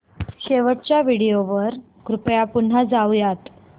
शेवटच्या व्हिडिओ वर कृपया पुन्हा जाऊयात